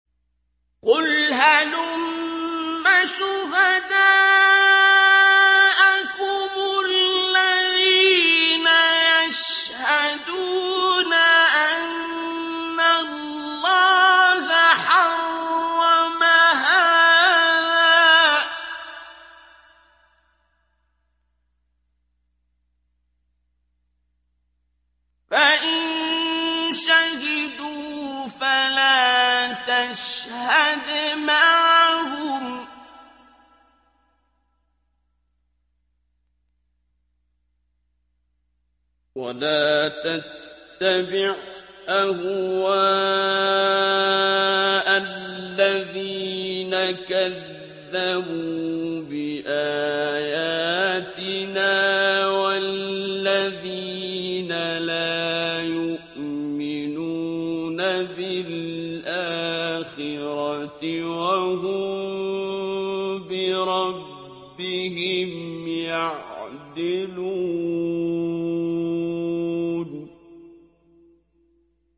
قُلْ هَلُمَّ شُهَدَاءَكُمُ الَّذِينَ يَشْهَدُونَ أَنَّ اللَّهَ حَرَّمَ هَٰذَا ۖ فَإِن شَهِدُوا فَلَا تَشْهَدْ مَعَهُمْ ۚ وَلَا تَتَّبِعْ أَهْوَاءَ الَّذِينَ كَذَّبُوا بِآيَاتِنَا وَالَّذِينَ لَا يُؤْمِنُونَ بِالْآخِرَةِ وَهُم بِرَبِّهِمْ يَعْدِلُونَ